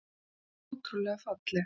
Hreint ótrúlega falleg